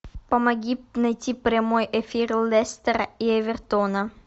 помоги найти прямой эфир лестера и эвертона